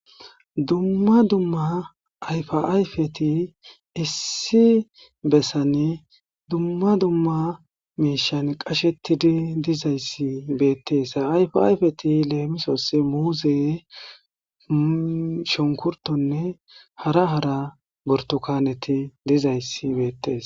dumma dumma ayfa ayfeti issi bessane dumma dumma meishan qashetidi dizayssi beettees yfayfeti leemisos muuze shonkurtonne hara hara bortokaneti dizayssi beettes